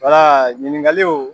Wala ɲininkali o